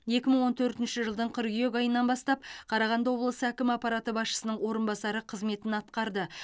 екі мың он төртінші жылдың қыркүйек айынан бастап қарағанды облысы әкімі аппараты басшысының орынбасары қызметін атқарды